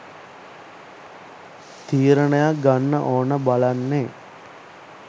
තීරණයක් ගන්න ඕන බලන්නේ